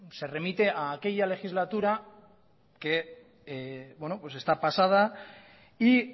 se remite a aquella legislatura que está pasada y